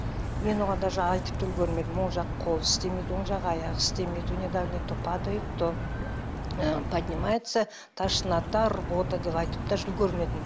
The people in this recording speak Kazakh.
мен оған даже айтып та үлгермедім оң жақ қолы істемейді оң жақ аяғы істемейді у него давление то падает то ыыы поднимается тошнота рвота деп айтып даже үлгермедім